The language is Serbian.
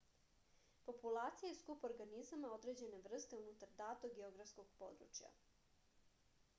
populacija je skup organizama određene vrste unutar datog geografskog područja